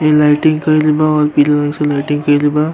ये लाइटिंग कईल बा और पीला रंग से लाइटिंग कईल बा।